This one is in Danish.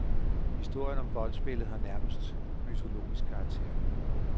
Historien om boldspillet har nærmest mytologisk karakter.